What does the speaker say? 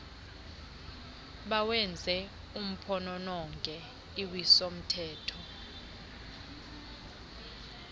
bawenze uphonononge uwisomthetho